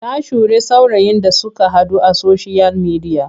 Ta sure saurayin da suka haɗu a soshiyal midiya.